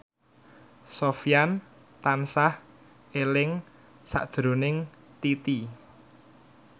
Sofyan tansah eling sakjroning Titi